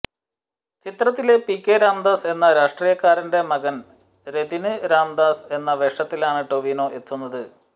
ചിത്രത്തിലെ പികെ രാംദാസ് എന്ന രാഷ്ട്രീയക്കാരന്റെ മകന് രതിന് രാംദാസ് എന്ന വേഷത്തിലാണ് ടൊവിനോ എത്തുന്നത്